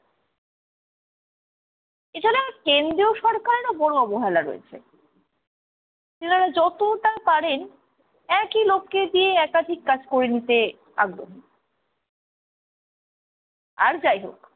এছাড়া কেন্দ্রীয় সরকারেরও বড় অবহেলা রয়েছে, তেনারা যতটা পারেন একই লোককে দিয়ে একাধিক কাজ করিয়ে নিতে আগ্রহী। আর যাই হোক